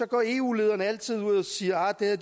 går eu lederne altid ud og siger at